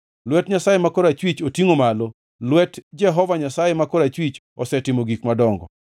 Lwet Jehova Nyasaye ma korachwich otingʼ malo; lwet Jehova Nyasaye ma korachwich osetimo gik madongo!”